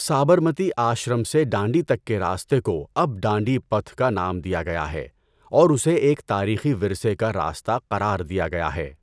سابرمتی آشرم سے ڈانڈی تک کے راستے کو اب ڈانڈی پتھ کا نام دیا گیا ہے اور اسے ایک تاریخی ورثے کا راستہ قرار دیا گیا ہے۔